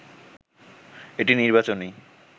এটি নির্বাচনী